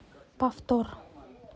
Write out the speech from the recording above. повтор